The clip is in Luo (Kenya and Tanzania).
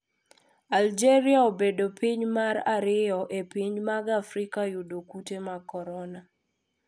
Aljeria obedo piny mar ariyo e pinje mag Afrika yudo kute mag korona.